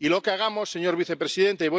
Y lo que hagamos, señor vicepresidente